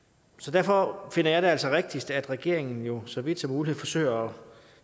derfor finder jeg det altså rigtigst at regeringen jo så vidt som muligt forsøger